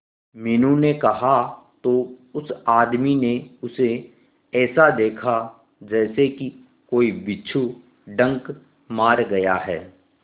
मीनू ने कहा तो उस आदमी ने उसे ऐसा देखा जैसे कि कोई बिच्छू डंक मार गया है